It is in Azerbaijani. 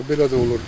Belə də olurdu.